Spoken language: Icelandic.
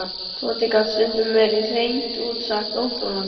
Tóti gat stundum verið hreint út sagt óþolandi.